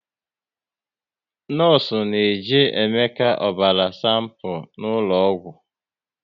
Nọọsụ na jee Emeka ọbara sanpu n'ụlọ ọgwụ